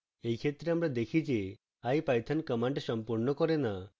in ক্ষেত্রে আমরা দেখি যে ipython command সম্পূর্ণ করে in